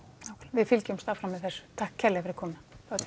við fylgjumst áfram með þessu takk fyrir komuna